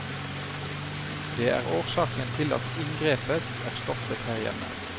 Det er årsaken til at inngrepet er stoppet her hjemme.